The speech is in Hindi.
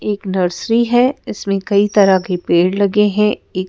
एक नर्सरी है इसमें कई तरह के पेड़ लगे हैं एक--